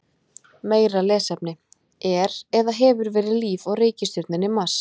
Meira lesefni: Er eða hefur verið líf á reikistjörnunni Mars?